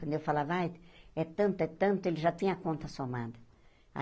Quando eu falava, ai é tanto, é tanto, ele já tinha a conta somada.